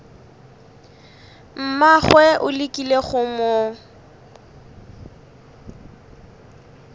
mmagwe o lekile go mo